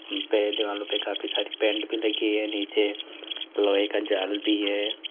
दीवारों पर काफी सारी पेंट हुई है जमीन पर नीचे जल भी है।